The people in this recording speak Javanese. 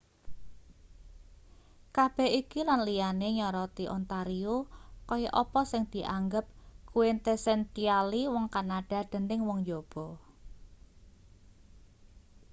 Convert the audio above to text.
kabeh iki lan liyane nyoroti ontario kaya apa sing dianggep quintessentially wong kanada dening wong njaba